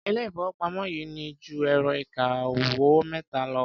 Ilé-ìfowópamọ́ yìí ní ju ẹ̀rọ-ìkawó mẹ́ta lọ.